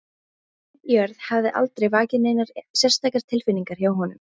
Auð jörð hafði aldrei vakið neinar sérstakar tilfinningar hjá honum.